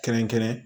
Kɛrɛnkɛrɛn